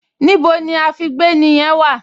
Níbo ni àfígbéni yẹn wà?